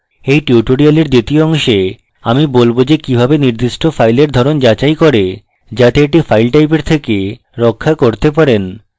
in tutorial দ্বিতীয় অংশে আমি বলব যে কিভাবে নির্দিষ্ট file ধরণ যাচাই করে যাতে এটি file টাইপের থেকে রক্ষা করতে পারেন